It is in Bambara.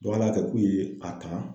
ala ya kɛ k'u ye a ta.